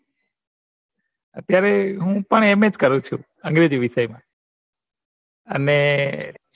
અત્યારે હું પણ NS જ કરું છું અંગ્રેજી વિષય મા અને